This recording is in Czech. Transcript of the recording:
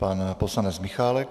Pan poslanec Michálek.